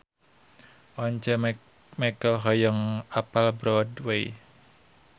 Once Mekel hoyong apal Broadway